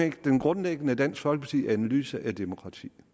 ikke den grundlæggende dansk folkeparti analyse af demokrati